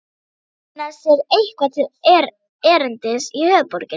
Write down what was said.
Finna sér eitthvað til erindis í höfuðborginni?